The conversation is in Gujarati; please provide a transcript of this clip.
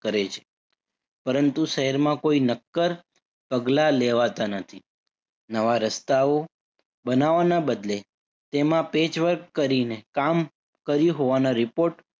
કરે છે. પરંતુ શહેરમાં કોઈ નક્કર પગલાં લેવાતા નથી. નવા રસ્તાઓ બનાવાના બદલે તેમાં patchwork કરીને કામ કર્યું હોવાના report